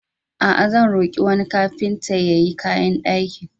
A'a, zan roƙi wani kagintan ya yi kayan dakin.